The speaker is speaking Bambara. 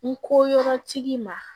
N ko yɔrɔtigi ma